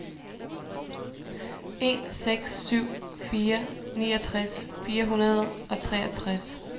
en seks syv fire niogtres fire hundrede og treogtres